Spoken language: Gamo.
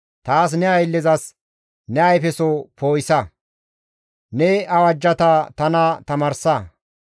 Taas ne ayllezas ne ayfeso poo7isa; ne awajjata tana tamaarsa.